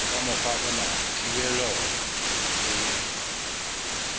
ka mokgwa ona thibelo e